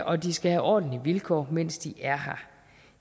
og de skal have ordentlige vilkår mens de er her